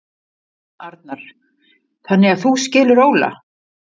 Arnar: Þannig að þú skilur Óla?